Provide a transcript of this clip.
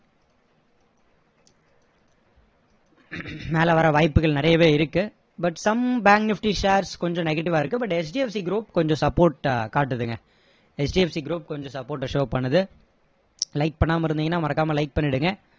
மேல வர்ற வாய்ப்புகள் நிறையவே இருக்கு but some banks nifty shares கொஞ்சம் negative டா இருக்கு but HDFC group கொஞ்சம் support காட்டுதுங்க HDFC group கொஞ்சம் support show ட பண்ணுது like பண்ணாம இருந்தீங்கன்னா மறக்காம like பண்ணிடுங்க